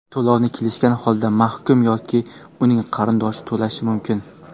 To‘lovni kelishgan holda mahkum yoki uning qarindoshi to‘lashi mumkin.